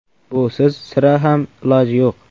Busiz sira ham iloji yo‘q.